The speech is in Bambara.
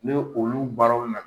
Nk olu baaraw nana